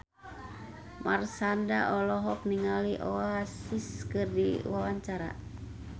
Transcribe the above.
Marshanda olohok ningali Oasis keur diwawancara